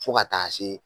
Fo ka taa se